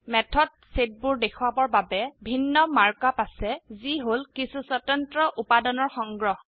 ম্যাথত সেটবোৰ দেখোৱাবৰ বাবে ভিন্ন মাৰ্ক আপ আছে যি হল কিছু স্বতন্ত্ৰ উপাদানৰ সংগ্ৰহ